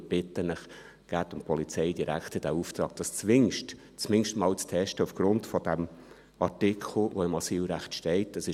Ich bitte Sie, geben Sie dem Polizeidirektor diesen Auftrag, dies, aufgrund des Artikel, der im Asylrecht steht, zumindest einmal zu testen.